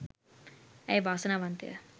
ඇය වාසනාවන්තය